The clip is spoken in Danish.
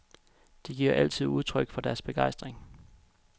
De giver altid udtryk for deres begejstring.